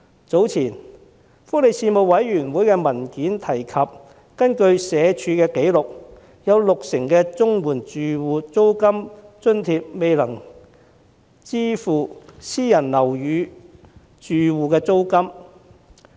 早前發出的福利事務委員會文件提及，根據社會福利署的紀錄，有六成綜援申領家庭領取的租金津貼未足以支付私人樓宇住戶的租金。